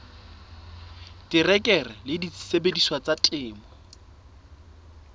terekere le disebediswa tsa temo